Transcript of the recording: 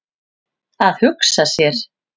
Að hugsa sér!